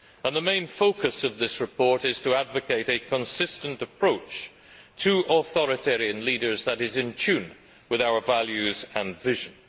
The main focus of this report is to advocate a consistent approach to authoritarian leaders that is in tune with our values and visions.